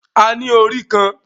A ní orí kan